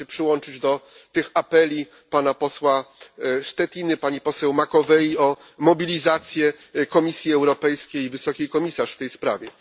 Chcę się przyłączyć do tych apeli pana posła Štětiny, pani poseł Macovei o mobilizację Komisji Europejskiej i Wysokiej Komisarz w tej sprawie.